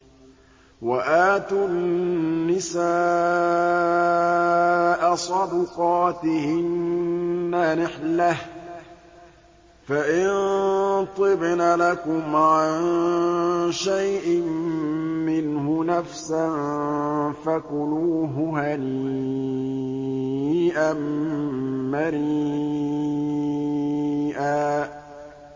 وَآتُوا النِّسَاءَ صَدُقَاتِهِنَّ نِحْلَةً ۚ فَإِن طِبْنَ لَكُمْ عَن شَيْءٍ مِّنْهُ نَفْسًا فَكُلُوهُ هَنِيئًا مَّرِيئًا